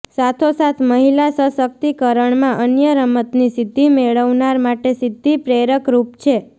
સાથોસાથ મહિલા સશક્તિ કરણમાં અન્ય રમતની સિધ્ધી મેળવનાર માટે સિધ્ધિ પ્રેરકરૃપ છે